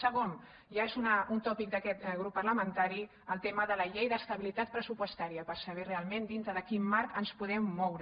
segon ja és un tòpic d’aquest grup parlamentari el tema de la llei d’estabilitat pressupostària per saber realment dintre de quin marc ens podem moure